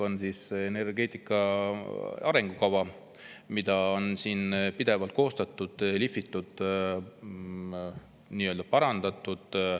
ENMAK on energia arengukava, mida siin on pidevalt koostatud, lihvitud, parandatud.